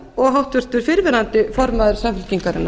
og háttvirtur fyrrverandi formaður samfylkingarinnar